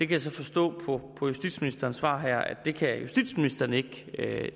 kan så forstå på justitsministerens svar her at det kan justitsministeren ikke